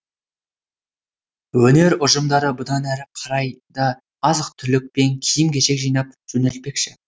өнер ұжымдары бұдан әрі қарай да азық түлік пен киім кешек жинап жөнелтпекші